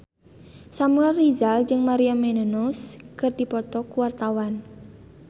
Samuel Rizal jeung Maria Menounos keur dipoto ku wartawan